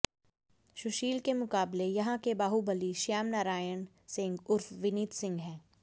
सुशील के मुकाबले यहां के बाहुबली श्याम नरायण सिंह उर्फ विनीत सिंह हैं